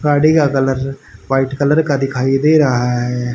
गाड़ी का colour white colour का दिखाई दे रहा है।